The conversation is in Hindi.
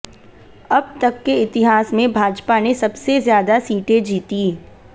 अब तक के इतिहास में भाजपा ने सबसे ज्यादा सीटें जीती